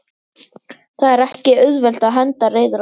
Það er ekki auðvelt að henda reiður á því?